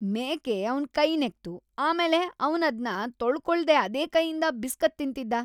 ಮೇಕೆ ಅವ್ನ್ ಕೈ ನೆಕ್ತು, ಆಮೇಲೆ ಅವ್ನದ್ನ ತೊಳ್ಕೊಳ್ದೇ ಅದೇ ಕೈಯಿಂದ ಬಿಸ್ಕತ್ ತಿಂತಿದ್ದ.